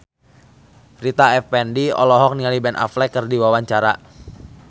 Rita Effendy olohok ningali Ben Affleck keur diwawancara